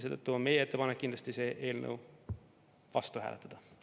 Seetõttu on meie ettepanek kindlasti selle eelnõu vastu hääletada.